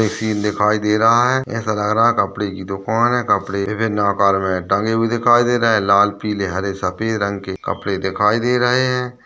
एक सीन दिखायी दे रहा है ऐसा लग रहा है कपड़े की दुकान है कपड़े में टंगे हुए दिखायी दे रहे हैं लाल पीले हरे सफ़ेद रंग के कपड़े दिखायी दे रहे हैं।